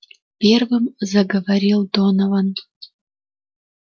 первым заговорил донован